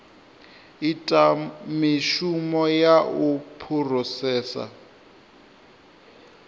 ita mishumo ya u phurosesa